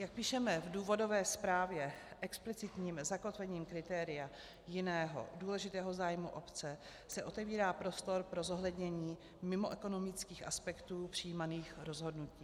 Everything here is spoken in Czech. Jak píšeme v důvodové zprávě, explicitním zakotvením kritéria jiného důležitého zájmu obce se otevírá prostor pro zohlednění mimoekonomických aspektů přijímaných rozhodnutí.